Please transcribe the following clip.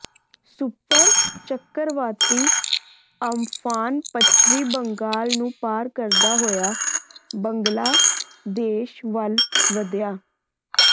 super ਚੱਕਰਵਾਤੀ Amphan ਪੱਛਮੀ ਬੰਗਾਲ ਨੂੰ ਪਾਰ ਕਰਦਾ ਹੋਇਆ ਬੰਗਲਾ ਦੇਸ਼ ਵੱਲ਼ ਵਧਿਆ